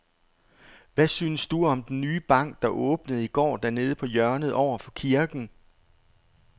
Hvad synes du om den nye bank, der åbnede i går dernede på hjørnet over for kirken?